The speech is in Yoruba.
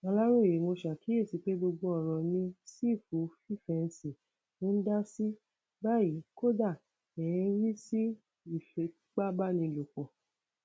aláròye mo ṣàkíyèsí pé gbogbo ọràn ni sífù fífẹǹsì ń dá sí báyìí kódà ẹ ń rí sí ìfipábánilòpọ